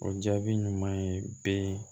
O jaabi ɲuman ye bɛ